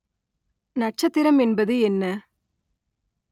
நட்சத்திரம் என்பது என்ன?